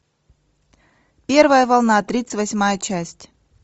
первая волна тридцать восьмая часть